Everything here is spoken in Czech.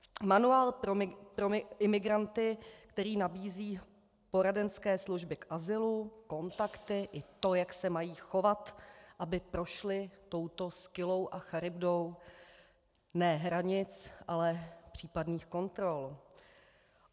Manuál pro imigranty, který nabízí poradenské služby k azylu, kontakty, i to, jak se mají chovat, aby prošli touto Skyllou a Charybdou - ne hranic, ale případných kontrol.